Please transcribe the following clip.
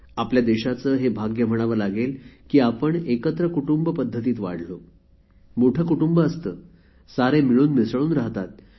आपल्या देशाचे हे भाग्य म्हणावे लागेल की आपण एकत्र कुटुंब पद्धतीत वाढलो मोठे कुटुंब असते सारे मिळून मिसळून राहतात